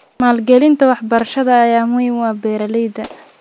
Maalgelinta waxbarashada ayaa muhiim u ah beeralayda.